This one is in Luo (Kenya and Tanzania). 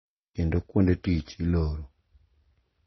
Kendo kuonde tich iloro.